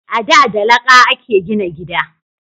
A da da laƙa a ke gina gida